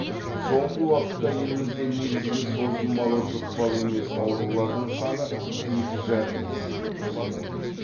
соңғы уақытта елімізде негізгі созылмалы жұқпалы емес аурулардың саны екі жарым есеге өскен